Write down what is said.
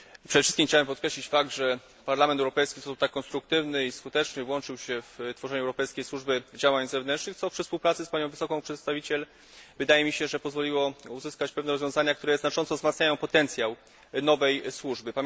Przede wszystkim chciałem podkreślić fakt, że Parlament Europejski w sposób tak konstruktywny i skuteczny włączył się w tworzenie Europejskiej Służby Działań Zewnętrznych, co przy współpracy z Panią Wysoką Przedstawiciel wydaje mi się pozwoliło uzyskać pewne rozwiązania, które znacząco wzmacniają potencjał nowej służby.